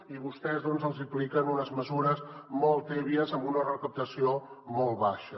i vostès els hi apliquen unes mesures molt tèbies amb una recaptació molt baixa